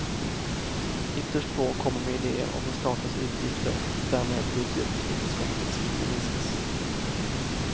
Ytterst få kommer med idéer om hur statens utgifter, och därmed budgetunderskottet, ska kunna minskas.